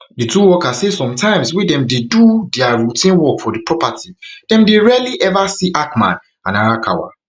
di two workers say sometimes wey dem dey do dia routine work for di property dem dey rarely ever see hackman and arakawa